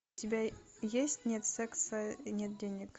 у тебя есть нет секса нет денег